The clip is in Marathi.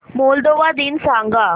मोल्दोवा दिन सांगा